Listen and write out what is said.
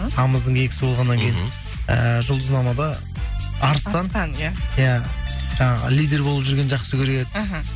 тамыздың екісі болғаннан кейін і жұлдызнамада арыстан иә иә жаңағы лидер болып жүргенді жақсы көреді іхі